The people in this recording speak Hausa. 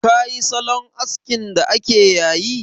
Ka yi salon askin da ake yayi?